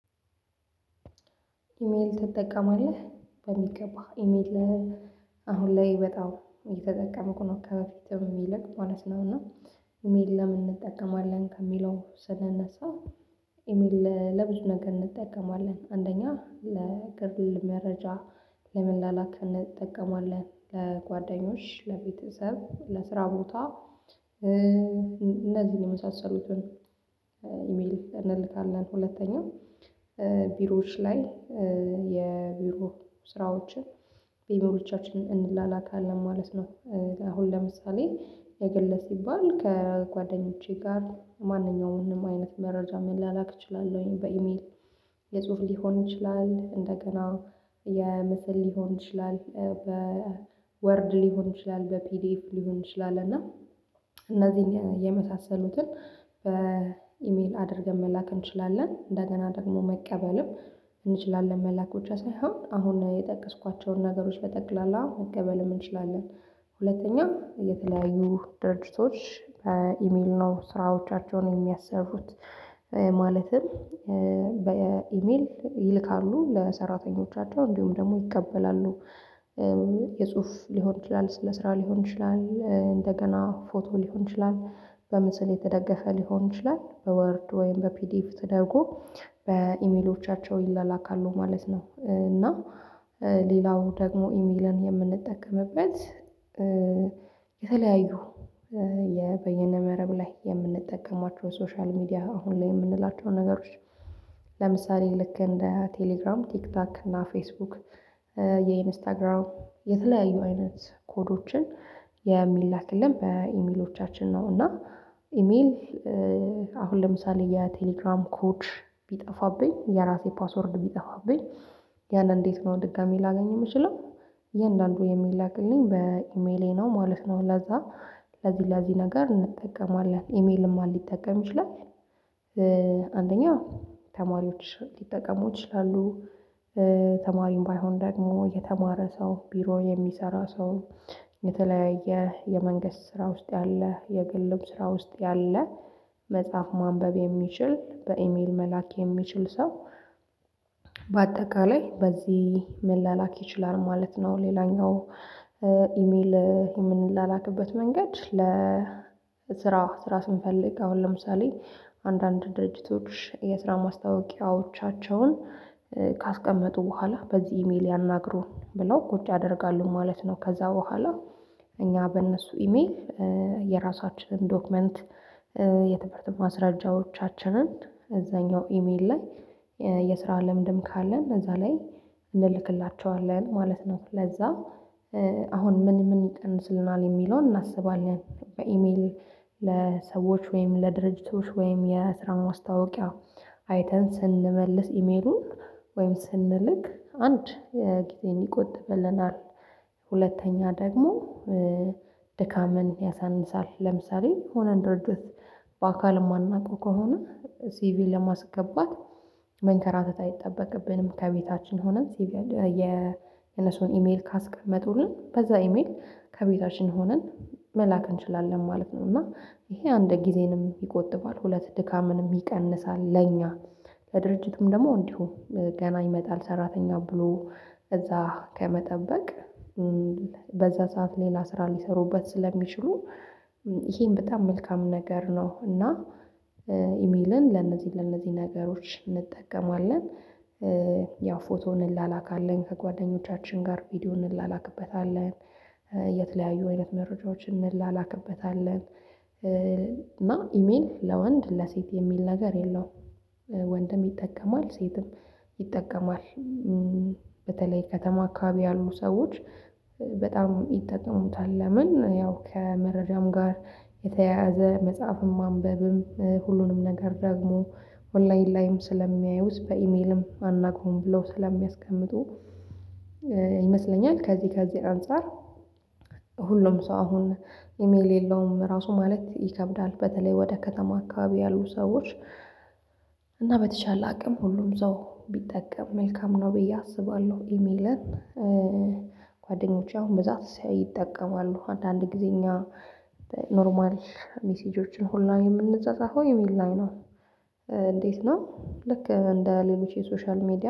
ኢሜል ትጠቀማለህ በሚገባ ኢሜል። አሁን ላይ በጣም እየተጠቀምኩ ከበፊትም የሚልቅ ማለት ነው። እና ኢሜል ለምን እንጠቀማለን ከሚለው ስንነሳ። ኢሜል ለብዙ ነገር እንጠቀማለን አንደኛ ለግል መረጃ ለመላላክ እንጠቀመዋለን ለጓደኞች ለቤተሰብ ለስራ ቦታ። እነዚህን የመሳሰሉትን ኢሜል እንልካለን። ሁለተኛው ቢሮዎች ላይ የቢሮ ስራዎችን ቢሮዎቻችንን እንላላካለን ማለት ነው። አሁን ለምሳሌ የገለ ሲባል ከጓደኞቼ ጋር ማንኛውም አይነት መረጃ መላላክ እችላለሁኝ በኢሜል። የጽሁፍ ሊሆን ይችላል እንደገና የምስል ሊሆን ይችላል በወርድ ሊሆን ይችላል በፒዲኤፍ ሊሆን ይችላል። እና እነዚህን የመሳሰሉትን በኢሜል አድርገን መላክ እንችላለን። እንደገና ደግሞ መቀበልም እንችላለን መላክ ብቻ ሳይሆን አሁን የጠቀስኳቸውን ነገሮች በጠቅላላ መቀበልም እንችላለን። ሁለተኛ የተለያዩ ድርጅቶች በኢሜል ነው ስራዎቻቸውን የሚያሰሩት። ማለትም በኢሜል ይልካሉ ለሰራተኞቻቸው እንዲሁም ደግሞ ይቀበላሉ። የጽሁፍ ሊሆን ይችላል ስለ ስራ ሊሆን ይችላል እንደገና ፎቶ ሊሆን ይችላል በምስል የተደገፈ ሊሆን ይችላል በወርድ ወይም በፒዲፍ ተደርጎ በኢሜሎቻቸው ይላካሉ ማለት ነው። እና ሌላው ደግሞ ኢሜልን የምንጠቀምበት የተለያዩ በየነ መረብ ላይ የምንጠቀማቸው ሶሻል ሚዲያ አሁን ላይ የምንላቸው ነገሮች። ለምሳሌ ልክ እንደ ቴሌግራም ቲክታክ እና ፌስቡክ። የኢንስታግራም የተለያዩ አይነት ኮዶችን የሚላክልን በኢሜሎቻችን ነው። እና ኢሜል አሁን ለምሳሌ የቴሌግራም ኮድ ቢጠፋብኝ የራሴ ፓስወርድ ቢጠፋብኝ ያንን እንዴት ነው? ድጋሚ ላገኝ የምችለው እያንዳንዱ የሚላክልኝ በኢሜሌ ነው ማለት ነው። ለዛ ለዚህ ለዚህ ነገር እንጠቀማለን። ኢሜልን ማን ሊጠቀም ይችላል? አንደኛ ተማሪዎች ሊጠቀሙ ይችላሉ። ተማሪም ባይሆን ደግሞ የተማረ ሰው ቢሮ የሚሰራ ሰው የተለያየ የመንግስት ስራ ውስጥ ያለ የግልም ስራ ውስጥ ያለ መጽፍ ማንበብ የሚችል በኢሜል መላክ የሚችል ሰው። በአጠቃላይ በዚህ መላላክ ይችላል ማለት ነው። ሌላኛው ኢሜል የምንላክበት መንገድ ለ ለስራ ስራ ስንፈልግ አሁን ለምሳሌ አንዳንድ ድርጅቶች የስራ ማስታወቂያዎቻቸውን ካስቀመጡ በኋላ በዚህ ኢሜል ያናግሩን ብለው ቁጭ ያደርጋሉ ማለት ነው። ከዛ በኋላ እኛ በእነሱ ኢሜል የራሳችንን ዶክመንት የትምህርት ማስረጃዎቻችንን እዛኛው ኢሜል ላይ የስራ ለምንድን ካለ እዛ ላይ እንልክላቸዋለን ማለት ነው። ለዛ አሁን ምን ምን ይቀንስልናል የሚለውን እናስባለን። በኢሜል ለሰዎች ወይም ለድርጅቶች ወይም የስራ ማስታወቂያ አይተን ስንመልስ ኢሜሉን ወይም ስንልክ አንድ የ ጊዜን ይቆጥብልናል። ሁለተኛ ደግሞ ድካምን ያሳንሳል። ለምሳሌ ሆነን ድርጅት በአካል የማናውቀው ከሆነ ሲቪ ለማስገባት መንከራተት አይጠበቅብንም ከቤታችን ሆነን ሲቪ የነሱን ኢሜል ካስቀመጡልን በዛ ኢሜል ከቤታችን ሆነን መላክ እንችላለን ማለት ነው። እና ይሄ አንድ ጊዜንም ይቆጥባል ሁለት ድካምንም ይቀንሳል ለኛ ለድርጅቱም ደግሞ እንዲሁ ገና ይመጣል ሰራተኛ ብሎ እዛ ከመጠበቅ በዛ ሰዓት ሌላ ስራ ሊሰሩበት ስለሚችሉ ይሄን በጣም መልካም ነገር ነው። እና ኢሜልን ለነዚህ ለነዚህ ነገሮች እንጠቀማለን። ያው ፎቶ ፎቶ እንላላክአለን ከጓደኞቻችን ጋር ቪዲዮ እንላላክበታለን። የተለያዩ አይነት መረጃዎችን እንላክበታለን። እና ኢሜል ለወንድ ለሴት የሚል ነገር የለውም። ወንድም ይጠቀማል ሴትም ይጠቀማል። በተለይ ከተማ አካባቢ ያሉ ሰዎች በጣም ይጠቀሙታል። ለምን ያው ከመረጃም ጋር የተያያዘ መጽሐፍም ማንበብም ሁሉንም ነገር ደግሞ ኦንላይን ላይም ስለሚያዩት በኢሜልም አናውቅም ብለው ስለሚያስቀምጡ ይመስለኛል። ከዚህ ከዚህ አንፃር ሁሉም ሰው አሁን ኢሜል የለውም ራሱ ማለት ይከብዳል በተለይ ወደ ከተማ አካባቢ ያሉ ሰዎች እና በተቻለ አቅም ሁሉም እዛው ቢጠቀም መልካም ነው ብዬ አስባለሁ። ኢሜልን ጓደኞቼ አሁን ብዛት ይጠቀማሉ አንድ አንድ ጊዜ እኛ ኖርማል ሜሴጆችን ሁላ የምንጸጸፈው ኢሜል ላይ ነው። እንዴት ነው? ልክ እንደ ሌሎች የሶሻል ሚዲያ